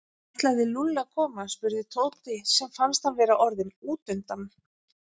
Ætlaði Lúlli að koma? spurði Tóti sem fannst hann vera orðinn útundan.